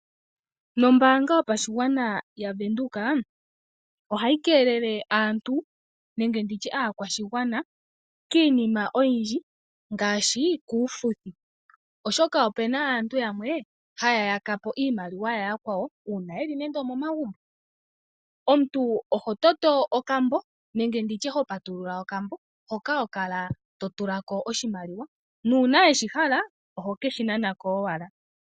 Noombanga yopashigwana yaVenduka, ohayi keelele aantu nenge ndi tye aakwashigwana kiinima oyindji ngaashi kuufuthi, oshoka opu na aantu yamwe haya yaka po iimaliwa ya yakwawo uuna yi li momagumbo. Omuntu oho toto okambo nenge ndi tye ho patulula okambo hoka ho kala to tula ko oshimaliwa nuuna we shi hala oho ke shi nana ko owala.